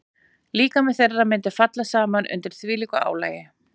Líkami þeirra mundi falla saman undir þvílíku álagi.